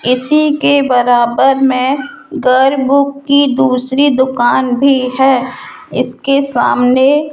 इसी के बराबर में गर्ग बुक की दूसरी दुकान भी है इसके सामने।